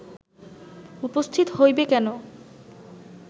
উপস্থিত হইবে কেন